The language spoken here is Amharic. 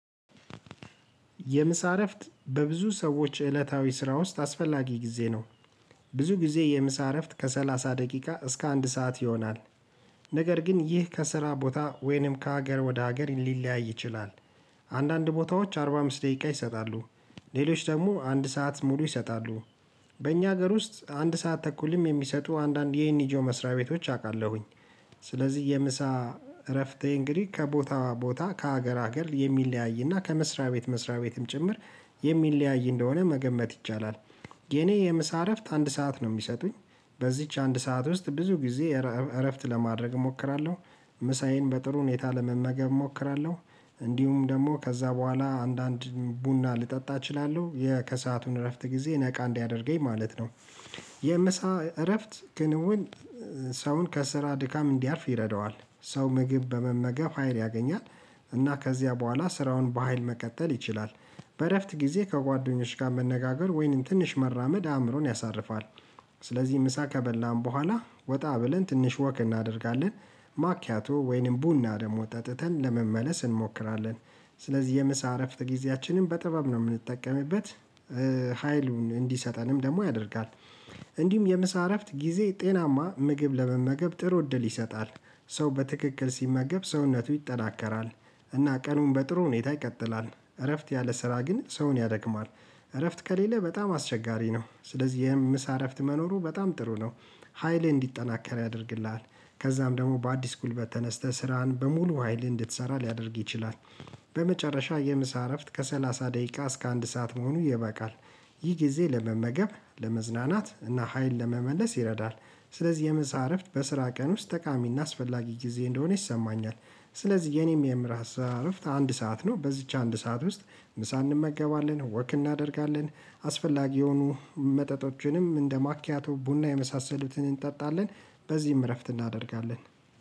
የምሳ እረፍት በብዙ ሰዎች እለታዊ ስራ ውስጥ አስፈላጊ ጊዜ ነው። ብዙ ጊዜ የምሳ እረፍት ከሰላሳ ደቂቃ እስከ አንድ ሰዓት ይሆናል። ነገር ግን ይህ ከስራ ቦታ ወይንም ከሀገር ወደ ሀገር ሊለያይ ይችላል። አንዳንድ ቦታዎች አርባ አምስት ደቂቃ ይሰጣሉ። ሌሎች ደግሞ አንድ ሰዓት ሙሉ ይሰጣሉ። በእኛ ሀገር ውስጥ አንድ ሰዓት ተኩልም የሚሰጡ አንዳንድ የኤንኤጆ መስሪያ ቤቶች አውቃለሁኝ። ስለዚህ የምሳ እረፍቴ እንግዲህ ከቦታዋ ቦታ ከሀገር ሀገር የሚለያይና ከመስሪያ ቤት መስሪያ ቤትም ጭምር የሚለያይ እንደሆነ መገመት ይቻላል። የኔ የምሳ እረፍት አንድ ሰዓት ነው የሚሰጡኝ በዚች አንድ ሰዓት ውስጥ ብዙ ጊዜ እረፍት ለማድረግ እሞክራለሁ። ምሳዬን በጥሩ ሁኔታ ለመመገብ እሞክራለሁ። እንዲሁም ደግሞ ከዛ በኋላ አንዳንድ ቡና ልጠጣ እችላለሁ የከሰአቱን እረፍት ጊዜ ነቃ እንዲያደርገኝ ማለት ነው። የምሳ እረፍት ክንውን። ሰውን ከስራ ድካም እንዲያርፍ ይረዳዋል። ሰው ምግብ በመመገፍ ሀይል ያገኛል። እና ከዚያ በኋላ ስራውን በሃይል መቀጠል ይችላል። በእረፍት ጊዜ ከጓደኞች ጋር መነጋገር ወይንም ትንሽ መራመድ አእምሮን ያሳርፋል። ስለዚህ ምሳ ከበላን በኋላ ወጣ ብለን ትንሽ ወክ እናደርጋለን። ማኪያቶ ወይንም ቡና ደግሞ ጠጥተን ለመመለስ እንሞክራለን። ስለዚህ የምሳ እረፍት ጊዜያችንን በጥበብ ነው የምንጠቀምበት። ሀይሉን እንዲሰጠንም ደግሞ ያደርጋል። እንዲሁም የምሳ እረፍት ጊዜ ጤናማ ምግብ ለመመገብ ጥሩ እድል ይሰጣል። ሰው በትክክል ሲመገብ ሰውነቱ ይጠናከራል። እና ቀኑን በጥሩ ሁኔታ ይቀጥላል እረፍት ያለ ስራ ግን ሰውን ያደክማል። እረፍት ከሌለ በጣም አስቸጋሪ ነው ስለዚህ የምሳ እረፍት መኖሩ በጣም ጥሩ ነው። ሀይል እንዲጠናከር ያደርግልሃል። ከዛም ደግሞ በአዲስ ጉልበት ተነስተህ ስራህን በሙሉ ሀይልህ እንድትሰራ ሊያደርግ ይችላል። በመጨረሻ የምሳ እረፍት ከሰላሳ ደቂቃ እስከ አንድ ሰዓት መሆኑ ይበቃል። ይህ ጊዜ ለመመገብ ለመዝናናት እና ሀይል ለመመለስ ይረዳል። ስለዚህ የምሳ እረፍት በስራ ቀን ውስጥ ጠቃሚና አስፈላጊ ጊዜ እንደሆነ ይሰማኛል። ስለዚህ የኔም የምሳ እረፍት አንድ ሰዓት ነው በዚች አንድ ሰዓት ውስጥ ምሳ እንመገባለን ወክ እናደርጋለን። አስፈላጊ የሆኑ መጠጦችንም እንደማኪያቶ ቡና የመሳሰሉትን እንጠጣለን። በዚህም እረፍት እናደርጋለን።